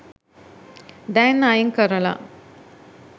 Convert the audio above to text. දැන් අයින් කරලා.